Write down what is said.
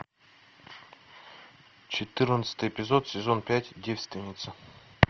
четырнадцатый эпизод сезон пять девственница